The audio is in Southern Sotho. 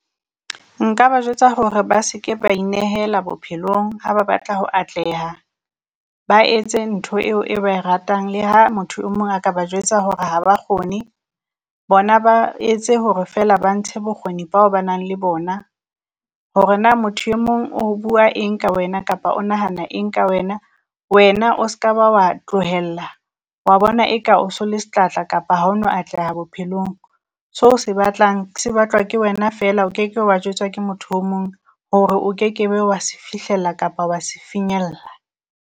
Nka ba jwetsa hore ba se ke ba inehela bophelong ha ba batla ho atleha, ba etse ntho eo e ba e ratang le ha motho o mong a ka ba jwetsa hore ha ba kgone. Bona ba etse hore feela ba ntshe bokgoni bao ba nang le bona, hore na motho e mong o bua eng ka wena, kapa o nahana eng ka wena, wena o se ka ba wa tlohella wa bona e ka o se le setlatla kapa ha o no atleha bophelong. So o se batlang se batlwa ke wena feela o keke wa jwetswa ke motho o mong hore o kekebe wa se fihlella kapa wa se finyella.